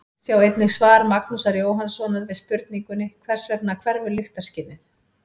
Sjá einnig svar Magnúsar Jóhannssonar við spurningunni Hvers vegna hverfur lyktarskynið?